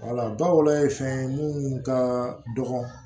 bawolɔ ye fɛn ye munnu ka dɔgɔ